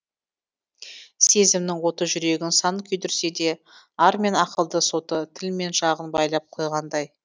сезімнің оты жүрегін сан күйдірсе де ар мен ақылдың соты тіл мен жағын байлап қойғандай